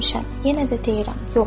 Yenə də deyirəm: yox!